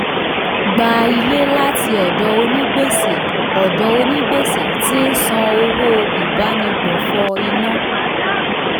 gba ilé láti ọdọ onígbèsè ọdọ onígbèsè tí ń san owó ìbánigbófò iná.